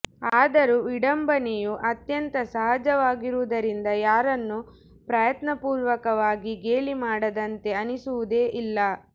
ಆದರೂ ವಿಡಂಬನೆಯು ಅತ್ಯಂತ ಸಹಜವಾಗಿರುವುದರಿಂದ ಯಾರನ್ನೂ ಪ್ರಯತ್ನಪೂರ್ವಕವಾಗಿ ಗೇಲಿ ಮಾಡಿದಂತೆ ಅನಿಸುವುದೇ ಇಲ್ಲ